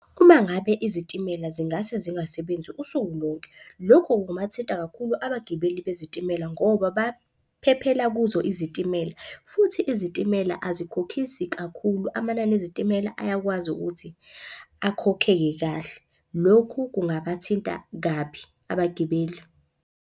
Uma ngabe izitimela zingase zingasebenzi usuku lonke, lokhu kungabathinta kakhulu abagibeli bezitimela ngoba baphephela kuzo izitimela. Futhi izitimela azikhokhisi kakhulu, amanani ezitimela ayakwazi ukuthi akhokhe kahle. Lokhu kungabathinta kabi abagibeli.